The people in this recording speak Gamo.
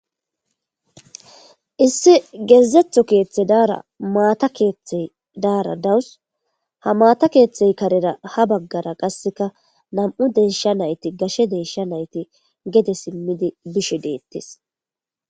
issi gezetho keeththey daara maata keeththey daara dawus ha maata keeththey karera ha baggara qasseka nam7u deesha nayti gashe deesha nayti gede simmidi bishe deettes.